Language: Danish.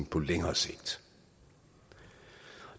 på længere sigt